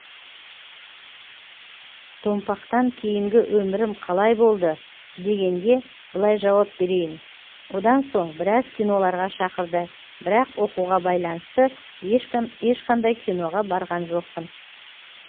томпақтан кейінгі өмірім қалай болды дегенге былай жауап берейін одан соң біраз киноларға шақырды бірақ оқуға байланысты ешқандай киноға барған жоқпын